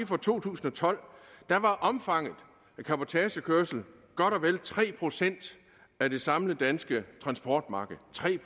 fra to tusind og tolv der var omfanget af cabotagekørsel godt og vel tre procent af det samlede danske transportmarkedet tre